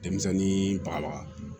Denmisɛnnin ba